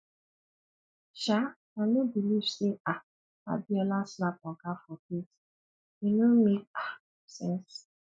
um i no believe say um abiola slap oga for face e no make um sense